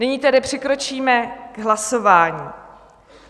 Nyní tedy přikročíme k hlasování.